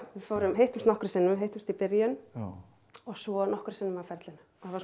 við hittumst nokkrum sinnum við hittumst í byrjun og svo nokkrum sinnum á ferlinu